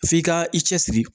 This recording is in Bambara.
F'i ka i cɛsiri